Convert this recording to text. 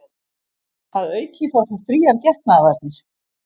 Að auki fá þau fríar getnaðarvarnir